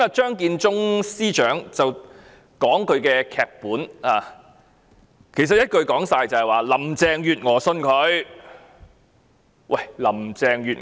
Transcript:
張建宗司長剛才讀出他的劇本，一言以蔽之，就是林鄭月娥相信鄭若驊。